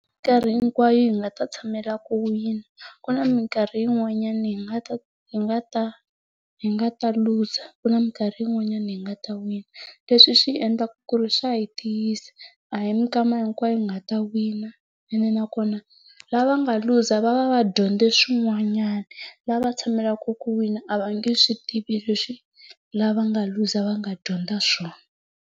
Mikarhi hinkwayo hi nga ta tshamela ku wina. Ku na mikarhi yin'wanyana hi nga ta hi nga ta hi nga ta luza, ku na mikarhi yin'wanyana hi nga ta wina. Leswi swi endlaka ku ri swa hi tiyisa, a hi mikama hinkwayo hi nga ta wina, ene nakona lava nga luza va va va dyondze swin'wanyana. Lava tshamelaka ku wina a va nge swi tivi leswi lava nga luza va nga dyondza swona.